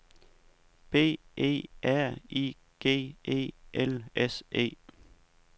B E R I G E L S E